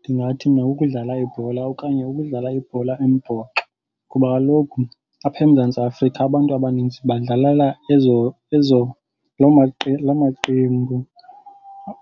Ndingathi mna kukudlala ibhola okanye ukudlala ibhola embhoxo kuba kaloku apha eMzantsi Afrika abantu abaninzi badlalela loo maqembu.